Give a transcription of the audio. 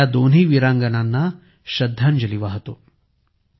मी या दोन्ही वीरांगनांना श्रद्धांजली वाहतो